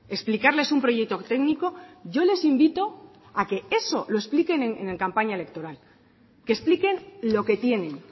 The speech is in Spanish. explicarles un proyecto técnico yo les invito a que eso lo expliquen en campaña electoral que expliquen lo que tienen